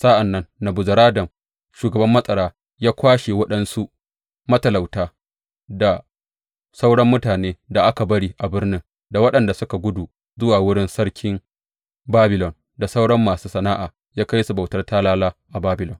Sa’an nan Nebuzaradan shugaban matsara ya kwashe waɗansu matalauta, da sauran mutane da aka bari a birnin, da waɗanda suka gudu zuwa wurin Sarkin Babilon, da sauran masu sana’a, ya kai su bautar talala a Babilon.